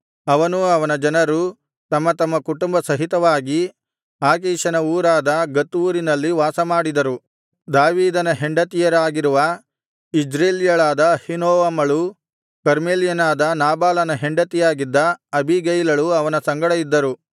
ಅವನೂ ಅವನ ಜನರೂ ತಮ್ಮ ತಮ್ಮ ಕುಟುಂಬ ಸಹಿತವಾಗಿ ಆಕೀಷನ ಊರಾದ ಗತ್ ಊರಿನಲ್ಲಿ ವಾಸಮಾಡಿದರು ದಾವೀದನ ಹೆಂಡತಿಯರಾಗಿರುವ ಇಜ್ರೇಲ್ಯಳಾದ ಅಹೀನೋವಮಳೂ ಕರ್ಮೇಲ್ಯನಾದ ನಾಬಾಲನ ಹೆಂಡತಿಯಾಗಿದ್ದ ಅಬೀಗೈಲಳೂ ಅವನ ಸಂಗಡ ಇದ್ದರು